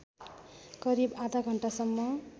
करिब आधा घण्टासम्म